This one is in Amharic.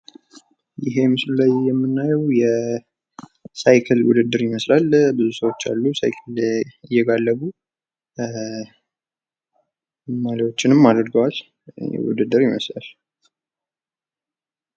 ይሄ ምስሉ ላይ የምናየው የሳይክል ውድድር ይመስላል። ብዙ ሰዎች አሉ ሳይክል እየጋለቡ። ማሊያዎችንም አድርገዋል ፤ ውድድር ይመስላል።